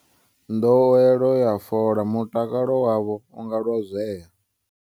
Nḓowelo ya fola, Mutakalo wavho u nga lozwea